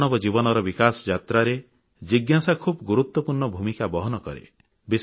ମାନବ ଜୀବନର ବିକାଶ ଯାତ୍ରାରେ ଜିଜ୍ଞାସା ଖୁବ ଗୁରୁତ୍ୱପୂର୍ଣ୍ଣ ଭୂମିକା ବହନ କରେ